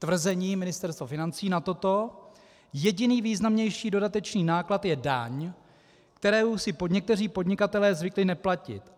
Tvrzení Ministerstva financí na toto: Jediný významnější dodatečný náklad je daň, kterou si někteří podnikatelé zvykli neplatit.